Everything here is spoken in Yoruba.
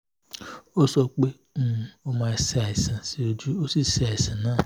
ó sọ pé ó máa ń ṣe àìsàn o sí àìsàn náà